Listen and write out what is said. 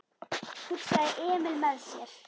hugsaði Emil með sér.